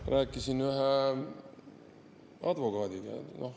Ma rääkisin ühe advokaadiga.